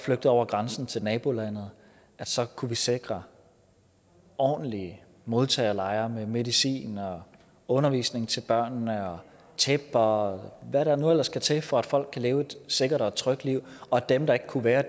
over grænsen til nabolandet og så kunne vi sikre ordentlige modtagelejre med medicin undervisning til børnene og tæpper og hvad der nu ellers skal til for at folk kan leve et sikkert og et trygt liv og dem der ikke kunne være